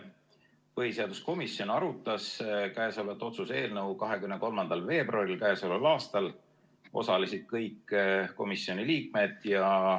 Põhiseaduskomisjon arutas käesolevat otsuse eelnõu 23. veebruaril k.a. Osalesid kõik komisjoni liikmed.